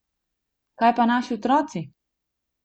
Kaj pa naši otroci?